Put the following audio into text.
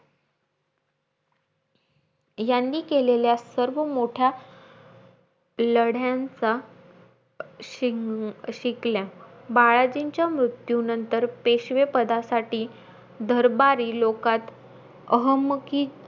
यांनी केलेल्या सर्व मोठ्या लढ्यांचा शिंक शिकल्या. बाळाजींच्या मृत्यूनंतर, पेशवे पदासाठी दरबारी लोकात अहमकि,